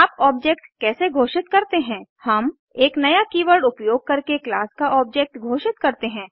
आप ऑब्जेक्ट कैसे घोषित करते हैं हम एक नया कीवर्ड उपयोग करके क्लास का ऑब्जेक्ट घोषित करते हैं